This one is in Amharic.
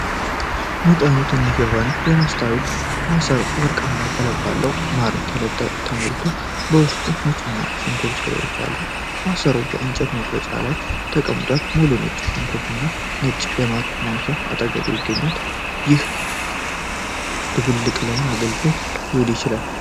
መጠኑ ትንሽ የሆነ የመስታወት ማሰሮ ወርቃማ ቀለም ባለው ማር ተሞልቶ በውስጡ የነጭ ሽንኩርት ፍሬዎች አሉ። ማሰሮው የእንጨት መቁረጫ ላይ የተቀመጧል፣ ሙሉ ነጭ ሽንኩርትና ትንሽ የማር ማንኪያ በአጠገቡ ይገኛል፤ ይህ ድብልቅ ለምን አገልግሎት ሊውል ይችላል?